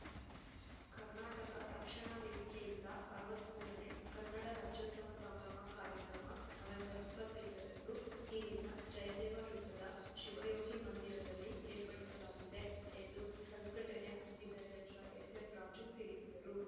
ಕರ್ನಾಟಕ ರಕ್ಷಣಾ ವೇದಿಕೆಯಿಂದ ಅರವತ್ತ್ ಮೂರನೇ ಕನ್ನಡ ರಾಜ್ಯೋತ್ಸವ ಸಂಭ್ರಮ ಕಾರ್ಯಕ್ರಮ ನವೆಂಬರ್ ಇಪ್ಪತ್ತೈದರಂದು ಇಲ್ಲಿನ ಜಯದೇವ ವೃತ್ತದ ಶಿವಯೋಗಿ ಮಂದಿರದಲ್ಲಿ ಏರ್ಪಡಿಸಲಾಗಿದೆ ಎಂದು ಸಂಘಟನೆ ಜಿಲ್ಲಾಧ್ಯಕ್ಷ ಎಸ್‌ಎಂರಾಜು ತಿಳಿಸಿದರು